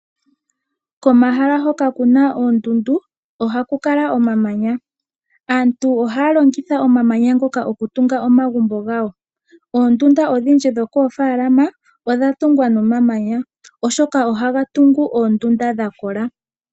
Komahala hoka kuna oondundu ohaku kala omamanya. Aantu ohaya longitha omamanya ngoka okutung omagumbo gawo. Oondunda dho koofalama odha tungwa nomamanya, oshoka ohaga tungu oondunda dha kola.